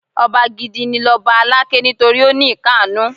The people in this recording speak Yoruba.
Ọba gidi ni lọba Aláké nítorí ó ní ìkannú.